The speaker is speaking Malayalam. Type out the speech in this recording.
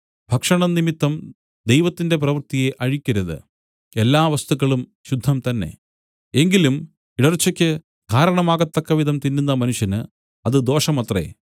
ഭക്ഷണം നിമിത്തം ദൈവത്തിന്റെ പ്രവൃത്തിയെ അഴിക്കരുത് എല്ലാ വസ്തുക്കളും ശുദ്ധം തന്നെ എങ്കിലും ഇടർച്ചക്ക് കാരണമാകത്തക്കവിധം തിന്നുന്ന മനുഷ്യന് അത് ദോഷമത്രേ